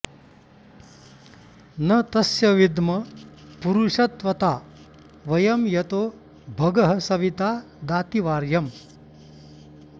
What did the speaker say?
न तस्य॑ विद्म पुरुष॒त्वता॑ व॒यं यतो॒ भगः॑ सवि॒ता दाति॒ वार्य॑म्